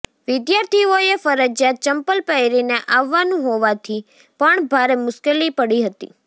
વિદ્યાર્થીઓએ ફરજિયાત ચંપ્પલ પહેરીને આવવાનું હોવાથી પણ ભારે મુશ્કેલી પડી હતી